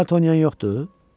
Kart oynayan yoxdu?